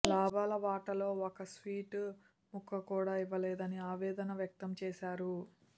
లాభాల వాటలో ఒక స్వీటు ముక్క కూడా ఇవ్వలేదని ఆవేదన వ్యక్తం చేశారు